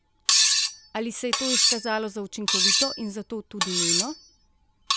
Ali se je to izkazalo za učinkovito in zato tudi nujno?